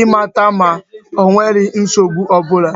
ịmata ma onwere nsogbu ọbụla